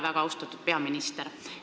Väga austatud peaminister!